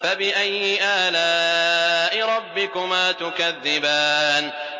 فَبِأَيِّ آلَاءِ رَبِّكُمَا تُكَذِّبَانِ